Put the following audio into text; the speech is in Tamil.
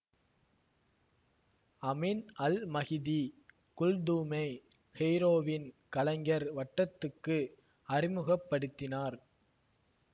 அமின் அல் மகிதி குல்தூமை கெய்ரோவின் கலைஞர் வட்டத்துக்கு அறிமுக படுத்தினார்